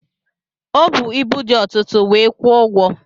Ọ bu ibu dị ọtụtụ wee kwụọ ụgwọ.